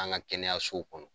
an ka kɛnɛyasow kɔnɔ.